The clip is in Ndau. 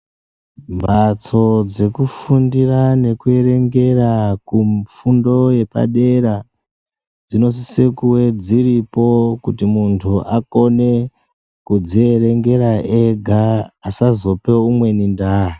Mhatso dzekufundira nekuerengera kufundo yepadera dzinosise kuve dziripo. Kuti muntu akone kudzierengera ega asazope umweni ndaa.